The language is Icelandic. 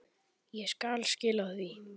Meira til koma.